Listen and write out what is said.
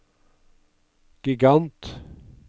gigant